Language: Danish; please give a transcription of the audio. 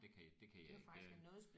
Det kan det kan jeg ikke jeg